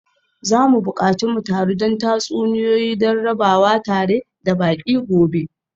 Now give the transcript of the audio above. Za mu buƙaci mu taru don tatsuniyoyi don rabawa tare da baƙi gobe.